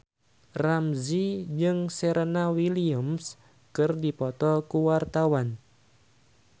Ramzy jeung Serena Williams keur dipoto ku wartawan